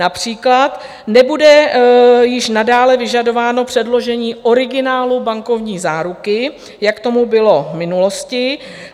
Například nebude již nadále vyžadováno předložení originálu bankovní záruky, jak tomu bylo v minulosti.